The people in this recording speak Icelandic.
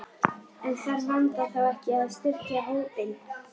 En þarf Vanda þá ekki að styrkja hópinn?